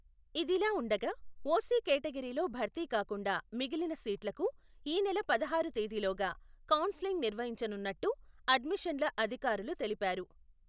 ఇదిలావుండగా, ఓసి కేటగెరీలో భర్తీ కాకుండా, మిగిలిన సీట్లకు, ఈ నెల పదహారు తేదిలోగా, కౌన్సెలింగ్ నిర్వహించనున్నట్టు, అడ్మిషన్ల అధికారులు తెలిపారు.